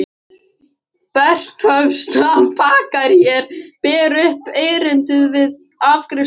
Bernhöftsbakaríi og ber upp erindið við afgreiðslustúlkuna.